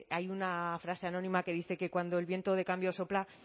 hay una frase anónima que dice que cuando el viento de cambio sopla